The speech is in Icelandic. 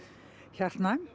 hjartnæm